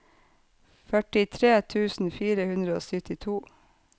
førtitre tusen fire hundre og syttito